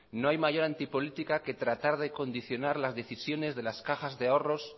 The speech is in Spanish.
no hay mayor antipolítica que tratar de condicionar las decisiones de las cajas de ahorros